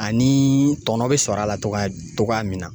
Ani tɔnɔ bɛ sɔrɔ a la togoya togoya min na.